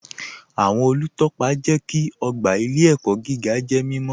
Awọn olútọ́pa jẹ́ kí ogba ilẹ̀-ẹ̀kọ̀ gígà jẹ́ mímọ̀